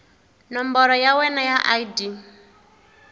nomboro ya wena ya id